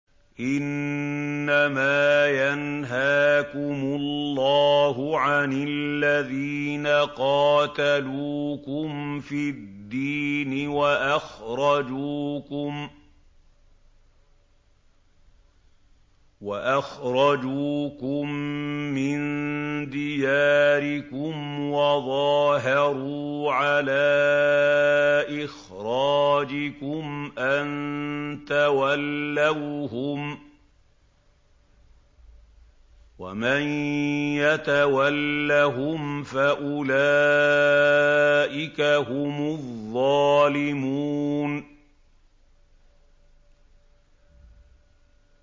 إِنَّمَا يَنْهَاكُمُ اللَّهُ عَنِ الَّذِينَ قَاتَلُوكُمْ فِي الدِّينِ وَأَخْرَجُوكُم مِّن دِيَارِكُمْ وَظَاهَرُوا عَلَىٰ إِخْرَاجِكُمْ أَن تَوَلَّوْهُمْ ۚ وَمَن يَتَوَلَّهُمْ فَأُولَٰئِكَ هُمُ الظَّالِمُونَ